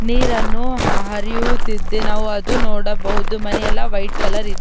ನೀರನ್ನು ಹರಿಯುತ್ತಿದ್ದೆ ನಾವು ಅದು ನೋಡಬಹುದು ಮನೆ ಎಲ್ಲಾ ವೈಟ್ ಕಲರ್ ಇದೆ --